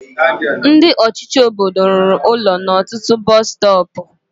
Ndị ọchịchị obodo rụrụ ụlọ na ọtụtụ bọs stọọpu.